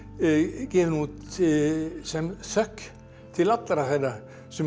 gefin út sem þökk til allra þeirra sem ég